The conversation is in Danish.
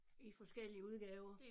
I forskellige udgaver